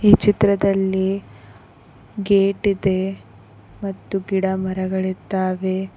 ಈ ಚಿತ್ರದಲ್ಲಿ ಗೇಟ್ ಇದೆ ಮತ್ತು ಗಿಡಮರಗಳಿದ್ದಾವೆ.